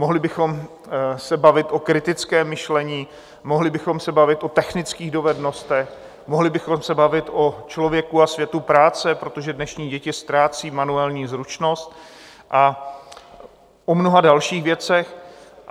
Mohli bychom se bavit o kritickém myšlení, mohli bychom se bavit o technických dovednostech, mohli bychom se bavit o člověku a světu práce, protože dnešní děti ztrácí manuální zručnost, a o mnoha dalších věcech.